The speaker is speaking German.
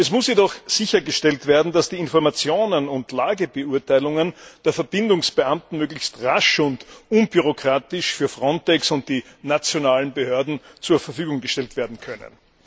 Es muss jedoch sichergestellt werden, dass die Informationen und Lagebeurteilungen der Verbindungsbeamten möglichst rasch und unbürokratisch für FRONTEX und die nationalen Behörden zur Verfügung gestellt werden können.